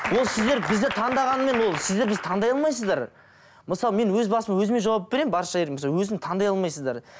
ол сіздер бізді таңдағанымен ол сіздер бізді таңдай алмайсыздар мысалы мен өз басыма өзіме жауап беремін өзін таңдай алмайсыздар